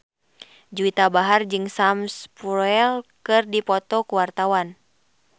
Juwita Bahar jeung Sam Spruell keur dipoto ku wartawan